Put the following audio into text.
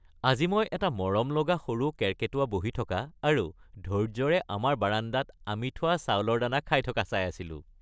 আজি মই এটা মৰমলগা সৰু কেৰ্কেটুৱা বহি থকা আৰু ধৈৰ্য্যৰে আমাৰ বাৰান্দাত আমি থোৱা চাউলৰ দানা খাই থকা চাই আছিলো।